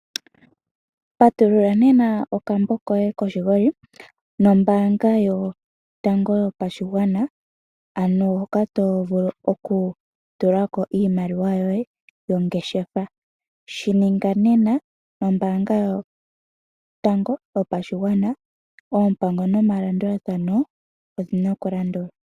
Patulula nena okambo koye koshingoli nombaanga yotango yopashigwana ano hoka tovulu okutulako iimaliwa yoye yongeshefa. Shininga nena nombaanga yotango yopashigwana . Oompango nomalandulathano odhi na okulandulwa.